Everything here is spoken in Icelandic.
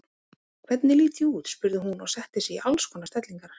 Hvernig lít ég út? spurði hún og setti sig í alls konar stellingar.